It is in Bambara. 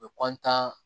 U bɛ